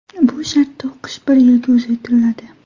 Bu shartda o‘qish bir yilga uzaytiriladi.